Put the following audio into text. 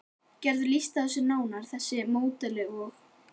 Geturðu lýst þessu nánar, þessu módeli og?